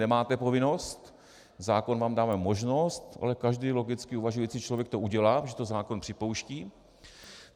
Nemáte povinnost, zákon vám dává možnost, ale každý logicky uvažující člověk to udělá, když to zákon připouští.